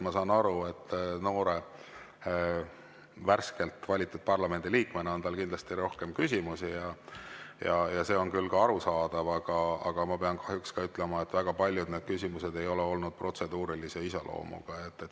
Ma saan aru, et noore, värskelt valitud parlamendiliikmena on tal kindlasti rohkem küsimusi, see on ka arusaadav, aga ma pean kahjuks ütlema, et väga paljud küsimused ei ole olnud protseduurilise iseloomuga.